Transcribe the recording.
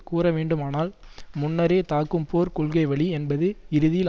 கூறவேண்டுமானால் முன்னரே தாக்கும் போர்க் கொள்கைவழி என்பது இறுதியில்